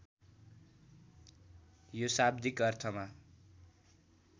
यो शाब्दिक अर्थमा